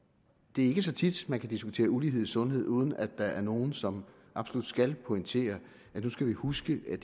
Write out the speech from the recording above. det er ikke så tit man kan diskutere ulighed i sundhed uden at der er nogle som absolut skal pointere at nu skal vi huske at